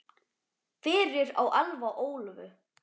Fyrir á Elfa Ólöfu.